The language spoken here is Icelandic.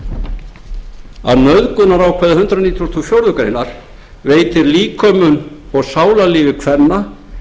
að nauðgunarákvæði hundrað nítugasta og fjórðu grein veitir líkömum og sálarlífi kvenna